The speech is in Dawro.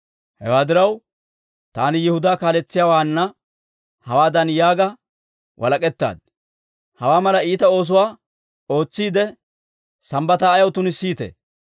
Hewaa diraw, taani Yihudaa kaaletsiyaawaana hawaadan yaaga walak'ettaad; «Hawaa mala iita oosuwaa ootsiide, Sambbataa ayaw tunissiitee?